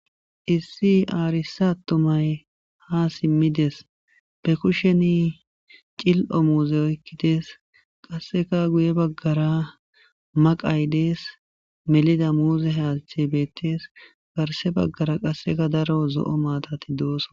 Issi arsa atumay hasimi dees be kushen c'il'o muze oyqidi des qaseka guye bagara maqay dees meliza muze hayti betes garsera qaseka daro zo'o matati dosona.